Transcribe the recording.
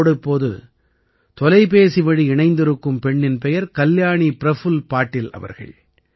என்னோடு இப்போது தொலைபேசிவழி இணைந்திருக்கும் பெண்ணின் பெயர் கல்யாணி பிரஃபுல்ல பாடில் அவர்கள்